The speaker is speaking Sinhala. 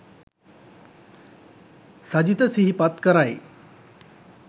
සජිත සිහිපත් කරයි